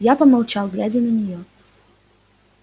я помолчал глядя на неё